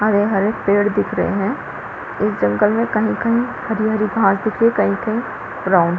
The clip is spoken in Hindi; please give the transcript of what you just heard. हरे हरे पेड़ दिख रहे है इस जंगल में कही कही हरी हरी घास दिख रही है कही कही ब्राउन --